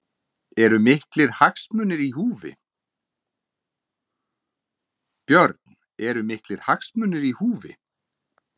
Björn: Eru miklir hagsmunir í húfi?